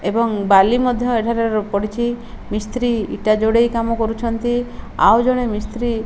ଏବଂ ବାଲି ମଧ୍ୟ ଏଠାରେ ପଡିଚି ମିସ୍ତ୍ରୀ ଇଟା ଯୋଡ଼େଇ କାମ କରୁଛନ୍ତି ଆଉ ଜଣେ ମିସ୍ତ୍ରୀ --